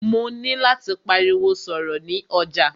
Mó nilò láti pariwo sọ̀rọ̀ ni ọjà.